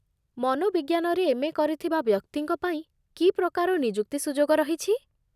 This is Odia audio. ମନୋବିଜ୍ଞାନରେ ଏମ୍.ଏ. କରିଥିବା ବ୍ୟକ୍ତିଙ୍କ ପାଇଁ କି ପ୍ରକାର ନିଯୁକ୍ତି ସୁଯୋଗ ରହିଛି?